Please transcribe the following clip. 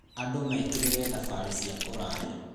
Andũ mekire thabarĩ cia kũraya.